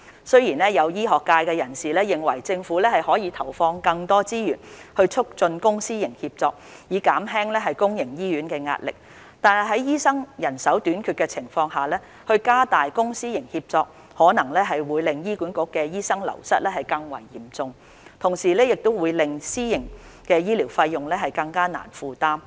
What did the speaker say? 雖然有醫學界人士認為政府可投放更多資源來促進公私營協作，以減輕公營醫院的壓力，但在醫生人手短缺的情況下加大公私營協作，可能會令醫管局的醫生流失更為嚴重，同時會令私營醫療的費用更難負擔。